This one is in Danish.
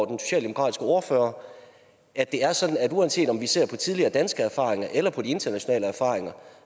den socialdemokratiske ordfører at det er sådan uanset om vi ser på tidligere danske erfaringer eller på de internationale erfaringer